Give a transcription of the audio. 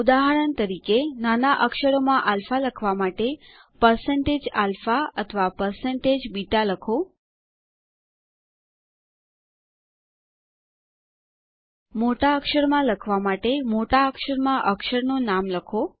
ઉદાહરણ તરીકે નાના અક્ષરોમાં આલ્ફા લખવા માટે160alpha અથવા160beta લખો મોટા અક્ષર લખવા માટે મોટા અક્ષર માં અક્ષરનું નામ લખો